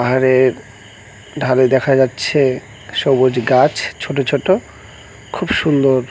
আর এর ধারে দেখা যাচ্ছে সবুজ গাছ ছোট ছোট খুব সুন্দর।